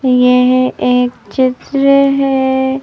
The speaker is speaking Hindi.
यह एक चित्र है।